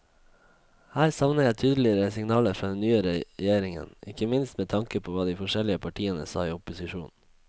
Her savner jeg tydeligere signaler fra den nye regjeringen, ikke minst med tanke på hva de forskjellige partiene sa i opposisjon.